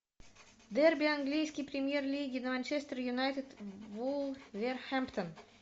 дерби английской премьер лиги манчестер юнайтед вулверхэмптон